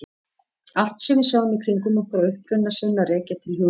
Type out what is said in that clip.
Allt sem við sjáum í kringum okkur á uppruna sinn að rekja til hugmynda.